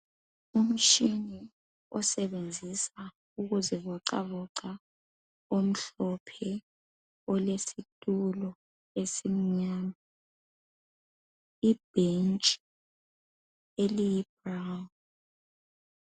Umtshina osebenzisa ukuzivocavoca omhlophe olesitulo esimnyama, ibhentshi eliyibrown (nsundu).